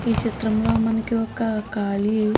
ఈ చిత్రం లో మనకి ఒక ఖాళీ --